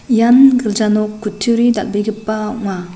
ian gilja nok kutturi dal·begipa ong·a.